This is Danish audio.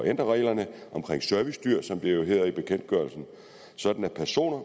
ændre reglerne om servicedyr som det jo hedder i bekendtgørelsen sådan at personer